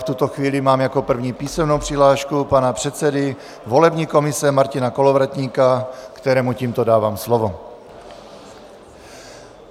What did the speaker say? V tuto chvíli mám jako první písemnou přihlášku pana předsedy volební komise Martina Kolovratníka, kterému tímto dávám slovo.